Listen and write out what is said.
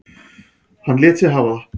Hann lét sig hafa það.